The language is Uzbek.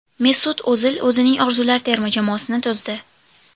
Mesut O‘zil o‘zining orzular terma jamoasini tuzdi.